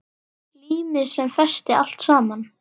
Límið sem festi allt saman.